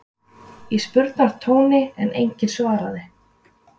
í spurnartóni en enginn svaraði.